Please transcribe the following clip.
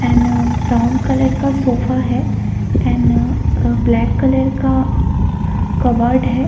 N brown colour का sofa है an black colour का कबर्ड है।